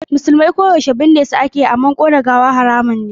Musulmai ko yaushe binne su ake, ƙona gawa haramun ne.